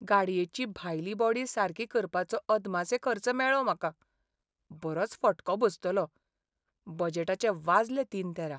गाडयेची भायली बॉडी सारकी करपाचो अदमासे खर्च मेळ्ळो म्हाका. बरोच फटको बसतलो. बजेटाचे वाजले तीन तेरा!